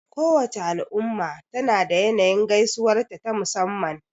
Kowace al'umma tana da yanayin gaisuwarta ta musamman.